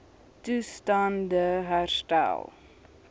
toestand e herstel